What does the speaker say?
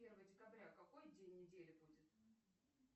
первого декабря какой день недели будет